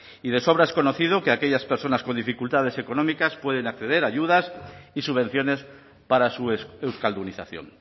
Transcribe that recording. y de sobre es conocido que aquellas personas con dificultades económicas pueden acceder a ayudas y subvenciones para su euskaldunización